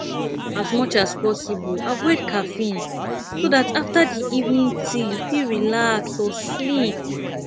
as much as possible avoid caffeine so dat after di evening tea you fit relax or sleep